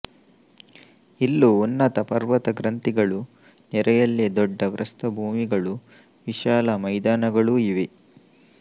ಇಲ್ಲೂ ಉನ್ನತ ಪರ್ವತ ಗ್ರಂಥಿಗಳೂ ನೆರೆಯಲ್ಲೇ ದೊಡ್ಡ ಪ್ರಸ್ಥಭೂಮಿಗಳೂ ವಿಶಾಲ ಮೈದಾನಗಳೂ ಇವೆ